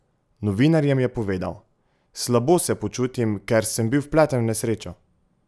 Novinarjem je povedal: "Slabo se počutim, ker sem bil vpleten v nesrečo.